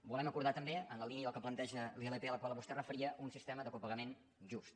volem acordar també en la línia del que planteja la ilp a la qual vostè es referia un sistema de copagament just